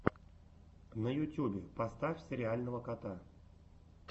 на ютюбе поставь сериального кота